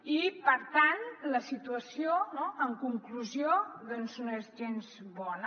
i per tant la situació no en conclusió no és gens bona